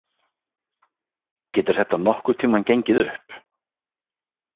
Getur þetta nokkurn tímann gengið upp?